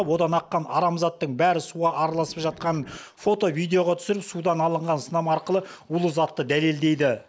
одан аққан арам заттың бәрі суға араласып жатқанын фото видеоға түсіріп судан алынған сынама арқылы улы затты дәлелдейді